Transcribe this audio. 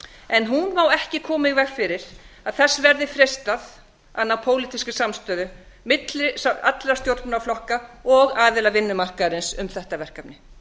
en hún á ekki koma í veg fyrir að þess verði freistað að ná pólitískri samstöðu milli allra stjórnmálaflokka og aðila vinnumarkaðarins um þetta verkefni